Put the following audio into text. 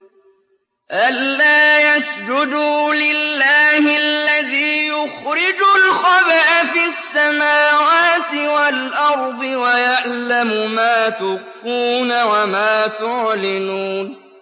أَلَّا يَسْجُدُوا لِلَّهِ الَّذِي يُخْرِجُ الْخَبْءَ فِي السَّمَاوَاتِ وَالْأَرْضِ وَيَعْلَمُ مَا تُخْفُونَ وَمَا تُعْلِنُونَ